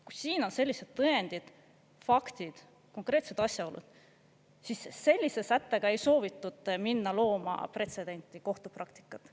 Kui siin on sellised tõendid, faktid, konkreetsed asjaolud, siis sellise sättega ei soovitud minna looma pretsedenti, kohtupraktikat.